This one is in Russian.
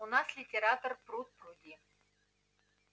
у нас литератор пруд-пруди